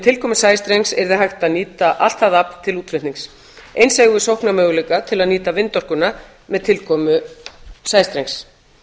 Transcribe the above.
tilkomu sæstrengs yrði hægt að nýta allt það afl til útflutnings eins eigum við sóknarmöguleika til að nýta vindorkuna með tilkomu sæstrengs